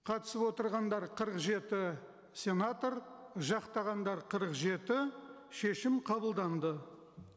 қатысып отырғандар қырық жеті сенатор жақтағандар қырық жеті шешім қабылданды